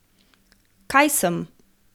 Kaj sem?